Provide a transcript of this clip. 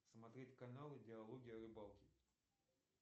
смотреть каналы диалоги о рыбалке